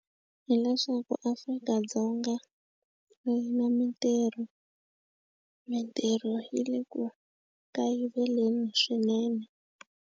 Hileswaku Afrika-Dzonga a yi na mitirho mitirho yi le ku kayiveleni swinene.